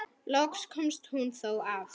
Loks komst hún þó að.